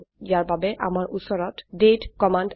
ইয়াৰ বাবে আমাৰ উচৰত দাঁতে কমান্ড আছে